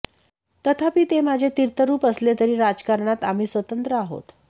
तथापि ते माझे तीर्थरुप असले तरी राजकारणात आम्ही स्वतंत्र आहोत